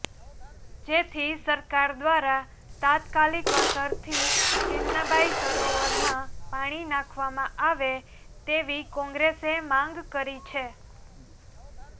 જેથી સરકાર દ્રારા તાત્કાલિક અસરથી ચિમનાબાઇ સરોવરમાં પાણી નાંખવામાં આવે તેવી કોંગ્રેસે માંગ કરી છે